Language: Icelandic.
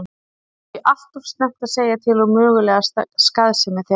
Það er því allt of snemmt að segja til um mögulega skaðsemi þeirra.